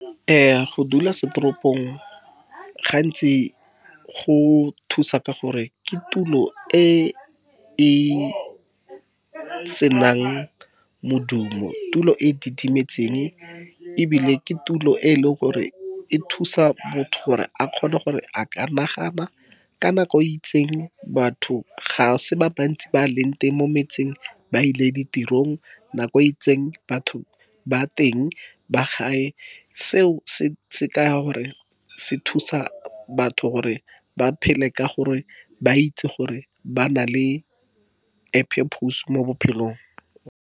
Go dula setoropong gantsi go thusa ka gore, ke tulo e e senang modumo tulo e didimetseng. Ebile ke tulo e leng gore e thusa motho gore a kgone gore a ka nagana ka nako e itseng batho ga se ba bantsi ba leng teng mo metseng ba ile ditirong, nako itseng batho ba teng ba gae, seo se kaya gore se thusa batho gore ba phele ka gore, ba itse gore ba na le a purpose mo bophelong.